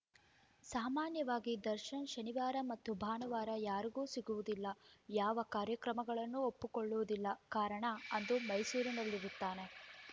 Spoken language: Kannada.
ಸಾಮಾನ್ಯವಾಗಿ ದರ್ಶನ್‌ ಶನಿವಾರ ಮತ್ತು ಭಾನುವಾರ ಯಾರಿಗೂ ಸಿಗುವುದಿಲ್ಲ ಯಾವ ಕಾರ್ಯಕ್ರಮಗಳನ್ನು ಒಪ್ಪಿಕೊಳ್ಳುವುದಿಲ್ಲ ಕಾರಣ ಅಂದು ಮೈಸೂರಿನಲ್ಲಿರುತ್ತಾರೆ